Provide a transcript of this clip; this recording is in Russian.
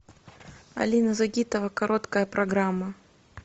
алина загитова короткая программа